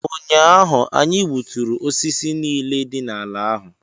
ụnyahụ, anyị gbuturu osisi niile dị n’ala ahụ